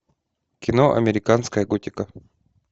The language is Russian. кино американская готика